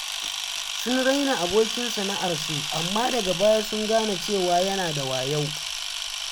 Sun raina abokin sana’arsu, amma daga baya sun gane cewa yana da wayo.